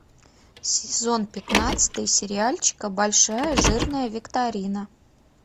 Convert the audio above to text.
сезон пятнадцатый сериальчика большая жирная викторина